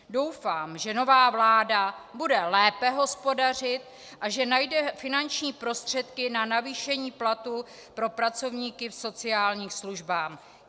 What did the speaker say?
Doufám, že nová vláda bude lépe hospodařit a že najde finanční prostředky na navýšení platů pro pracovníky v sociálních službách.